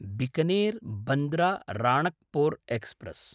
Bikaner Bandra Ranakpur express